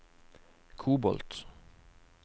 kobolt